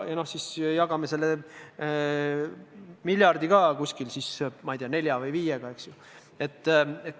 Ja jagame selle miljardi ka, ma ei tea, nelja või viiega, eks ju.